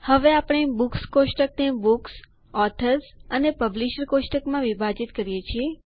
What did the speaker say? હવે આપણે બુક્સ કોષ્ટકને બુક્સ ઓથર્સ અને પબ્લિશર કોષ્ટકમાં વિભાજીત કર્યું છે